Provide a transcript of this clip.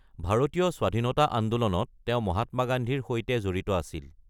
ভাৰতীয় স্বাধীনতা আন্দোলনত তেওঁ মহাত্মা গান্ধীৰ সৈতে জড়িত আছিল।